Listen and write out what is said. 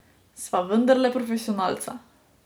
Sva vendarle profesionalca.